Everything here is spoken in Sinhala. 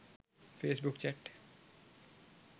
face book chat